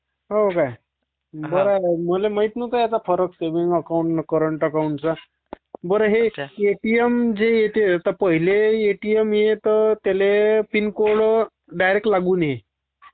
हो का ..बर बुआ voice Over lapping मले ठाऊक नव्हता फरक सेव्हींग आणि करंट अकाऊंटमधला फरक काय तो..बर हे एटीएम..पहील्य एटीएम त्याले पिन कोड डायरेक्ट लागून येई